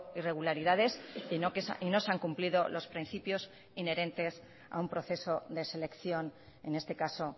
irregularidades y no se han cumplido los principios inherentes a un proceso de selección en este caso